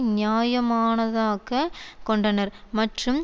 நியாயமானதாக்கக் கொண்டனர் மற்றும்